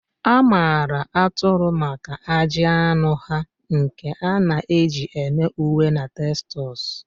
A maara atụrụ maka ajị anụ ha, nke a na-eji eme uwe na textiles